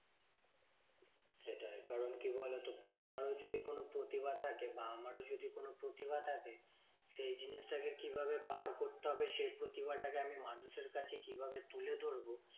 সেটাই কারণ কি বলতো? তোমারও যদি কোনো প্রতিভা থাকে বা আমারও যদি কোনো প্রতিভা থাকে। সেই জিনিসটাকে কিভাবে বার করতে হবে সেই প্রতিভাটা কে আমি মানুষের কাছে কিভাবে তুলে ধরবো?